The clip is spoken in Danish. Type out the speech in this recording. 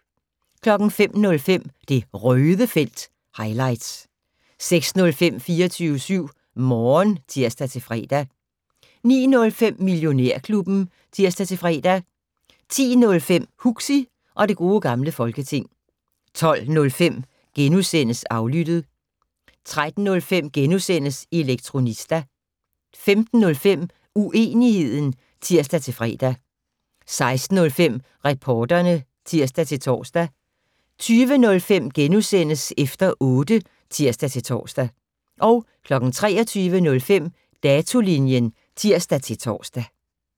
05:05: Det Røde felt - highlights 06:05: 24syv Morgen (tir-fre) 09:05: Millionærklubben (tir-fre) 10:05: Huxi og det gode gamle folketing 12:05: Aflyttet * 13:05: Elektronista * 15:05: Uenigheden (tir-fre) 16:05: Reporterne (tir-tor) 20:05: Efter otte *(tir-tor) 23:05: Datolinjen (tir-tor)